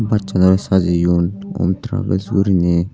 bussanorey sajeyun om travels guriney.